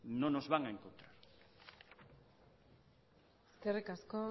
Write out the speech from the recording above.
no nos van a encontrar eskerrik asko